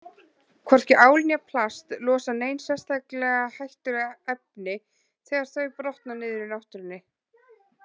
Hvorki ál né plast losa nein sérstaklega hættuleg efni þegar þau brotna niður í náttúrunni.